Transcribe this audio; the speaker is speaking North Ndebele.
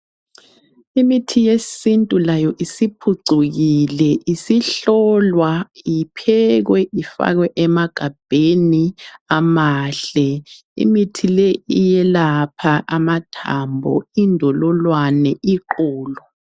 Imithi yesintu layo isiphucukile isihlolwa, iphekwe, ifakwe emagabheni amahle. Imithi leyi iyelapha amathambo, indololwane, iqolo.